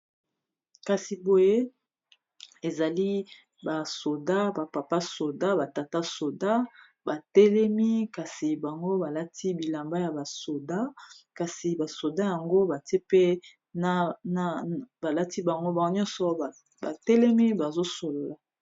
kasi boye ezali basoda bapapa soda batata soda batelemi kasi bango balati bilamba ya basoda kasi basoda yango batie pe n balati bango ao nyonso batelemi bazosolola